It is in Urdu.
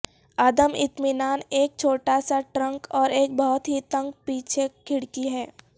عدم اطمینان ایک چھوٹا سا ٹرنک اور ایک بہت ہی تنگ پیچھے کھڑکی ہے